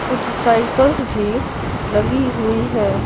कुछ साइकिल्स भी लगी हुई है।